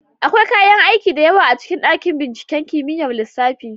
Akwai kayan aiki da yawa a cikin dakin binciken kimiyyar lissafi.